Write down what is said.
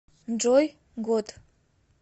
джой год